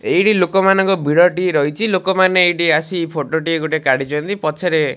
ଏଇଠି ଲୋକମାନଙ୍କ ଭିଡଟି ରହିଚି ଲୋକମାନେ ଏଇଠି ଆସି ଫଟୋ ଟିଏ ଗୋଟେ କାଢିଚନ୍ତି ପଛରେ --